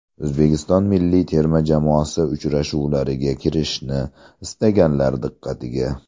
O‘zbekiston milliy terma jamoasi uchrashuvlariga kirishni istaganlar diqqatiga.